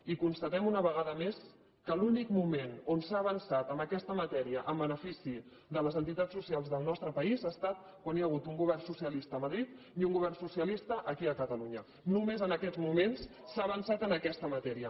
i constatem una vegada més que l’únic mo·ment on s’ha avançat en aquesta matèria en benefici de les entitats socials del nostre país ha estat quan hi ha hagut un govern socialista a madrid i un govern so·cialista aquí a catalunya només en aquests moments s’ha avançat en aquesta matèria